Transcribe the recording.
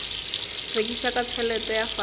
rekiša ka tšhelete ya fase